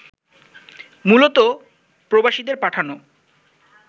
মূলত প্রবাসীদের পাঠানো